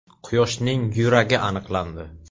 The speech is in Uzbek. Quyoshning yuragi aniqlandi.